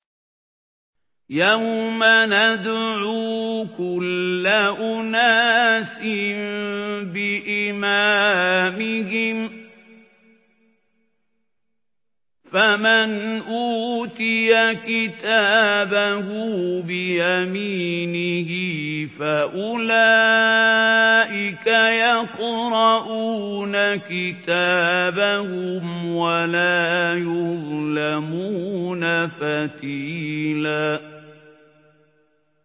يَوْمَ نَدْعُو كُلَّ أُنَاسٍ بِإِمَامِهِمْ ۖ فَمَنْ أُوتِيَ كِتَابَهُ بِيَمِينِهِ فَأُولَٰئِكَ يَقْرَءُونَ كِتَابَهُمْ وَلَا يُظْلَمُونَ فَتِيلًا